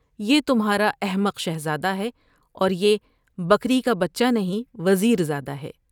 یہ تمھارا احمق شہزادہ ہے اور یہ بکری کا بچہ نہیں وزیر زادہ ہے ۔